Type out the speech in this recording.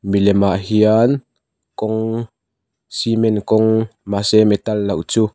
milem ah hian kawng cement kawng mahse metal loh chu --